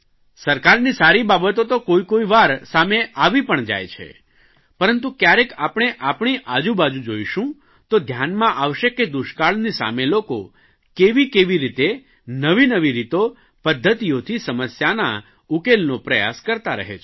સરકારની સારી બાબતો તો કોઇકોઇ વાર સામે આવી પણ જાય છે પરંતુ કયારેક આપણે આપણી આજુબાજુ જોઇશું તો ધ્યાનમાં આવશે કે દુષ્કાળની સામે લોકો કેવી કેવી રીતે નવી નવી રીતો પદ્ધતિઓથી સમસ્યાના ઉકેલનો પ્રયાસ કરતા રહે છે